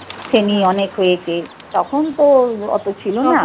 শ্রেণী অনেক হয়েছে তখন তো অত ছিল না।